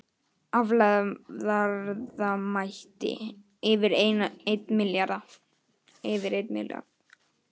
Aflaverðmæti yfir einn milljarð